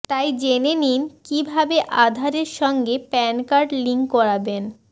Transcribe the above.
তাই জেনে নিন কী ভাবে আধারের সঙ্গে প্যানকার্ড লিঙ্ক করাবেন